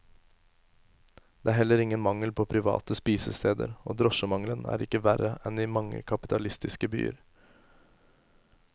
Det er heller ingen mangel på private spisesteder, og drosjemangelen er ikke verre enn i mange kapitalistiske byer.